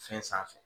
Fɛn sanfɛ